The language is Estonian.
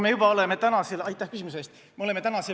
Aitäh küsimuse eest!